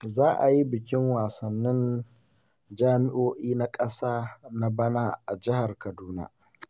Za a yi bikin wasannin jami'o'i na ƙasa na bana a jihar Kaduna.